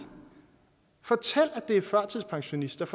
fortæl at det er førtidspensionisterne